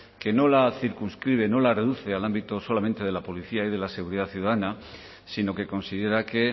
que no la circunscribe no la reduce al ámbito solamente de la policía y de la seguridad ciudadana sino que considera que